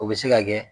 O bɛ se ka kɛ